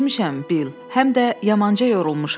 Düşmüşəm, Bil, həm də yamanca yorulmuşam.